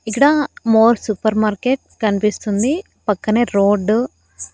ఇక్కడ More supermarket కనిపిస్తుంది పక్కనే రోడ్డు .